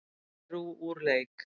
Perú úr leik